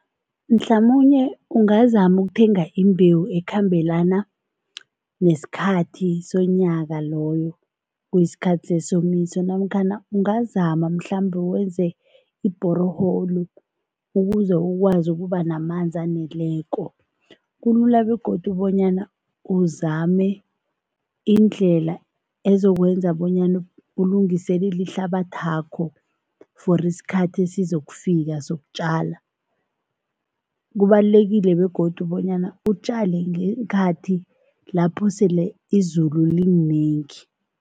Mhlamunye ungazama ukuthenga imbewu ekhambelana nesikhathi sonyaka loyo, kuyisikhathi sesomiso namkhana ungazama mhlambe wenze i-borehole ukuze ukwazi ukuba namanzi aneleko. Kulula begodu bonyana uzame indlela ezokwenza bonyana ulungiselele ihlabathakho for isikhathi esizokufika sokutjala. Kubalulekile begodu bonyana utjale ngeenkhathi lapho sele izulu lilinengi.